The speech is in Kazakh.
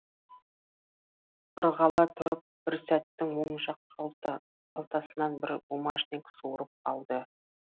ырғала тұрып бір сәттің оң жақ қалтасынан бір бумажник суырып алды